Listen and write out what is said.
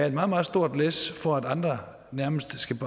et meget meget stort læs for at andre nærmest skal